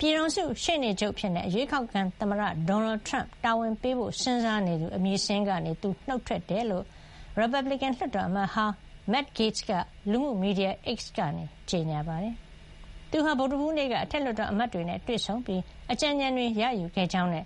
ပြည်ထောင်စုရှေ့နေချုပ်အဖြစ် အရွေးကောက်ခံသမ္မတ ဒေါ်နယ်ထရမ့် တာဝန်ပေးဖို့ စဉ်းစားနေသူ- အမည်စာရင်းကနေ သူနှုတ်ထွက်ကြောင်း ရီပတ်ဘလစ်ကန် လွှတ်တော်အမတ်ဟောင်း Matt Gaetz က လူမှုမီဒီယာ X ကနေ ကြေညာပါတယ်။ သူဟာ ဗုဒ္ဓဟူးနေ့က အထက်လွှတ်တော်အမတ်တွေနဲ့ တွေ့ဆုံပြီး အကြံဉာဏ်တွေ ရယူခဲ့ကြောင်းနဲ့